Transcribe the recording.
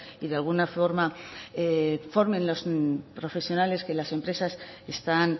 y de alguna forma formen los profesionales que las empresas están